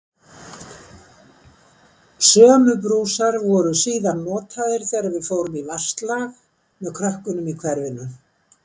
Sömu brúsar voru síðan notaðir þegar við fórum í vatnsslag með krökkunum í hverfinu.